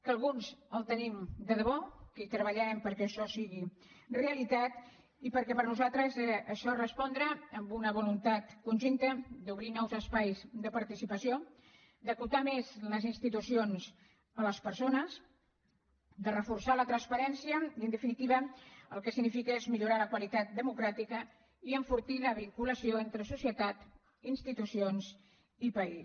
que alguns els tenim de debò que hi treballarem perquè això sigui realitat i perquè per a nosaltres això respondrà a una voluntat conjunta d’obrir nous espais de participació d’acostar més les institucions a les persones de reforçar la transparència i en definitiva el que significa és millorar la qualitat democràtica i enfortir la vinculació entre societat institucions i país